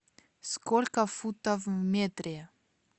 сколько футов в метре